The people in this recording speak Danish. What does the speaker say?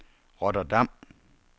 Rotterdam